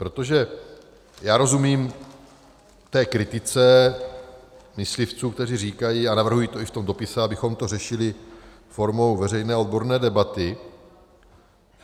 Protože já rozumím té kritice myslivců, kteří říkají, a navrhují to i v tom dopise, abychom to řešili formou veřejné odborné debaty.